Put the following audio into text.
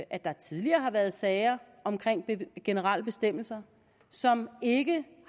at der tidligere har været sager om generelle bestemmelser som ikke